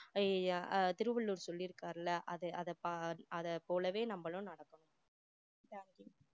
அஹ் திருவள்ளுவர் சொல்லியிருக்காருல அது அதை அதை பா~ போலவே நம்மளும் நடக்கணும் thank you